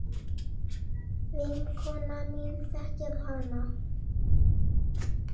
Vinkona mín þekkir hann.